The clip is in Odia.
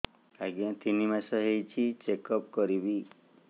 ଆଜ୍ଞା ତିନି ମାସ ହେଇଛି ଚେକ ଅପ କରିବି